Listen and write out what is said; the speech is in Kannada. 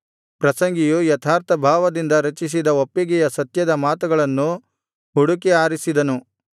ಪ್ರಸಂಗಿಯು ಯಥಾರ್ಥ ಭಾವದಿಂದ ರಚಿಸಿದ ಒಪ್ಪಿಗೆಯ ಸತ್ಯದ ಮಾತುಗಳನ್ನು ಹುಡುಕಿ ಆರಿಸಿದನು